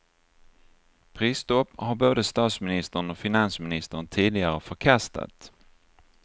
Prisstopp har både statsministern och finansministern tidigare förkastat.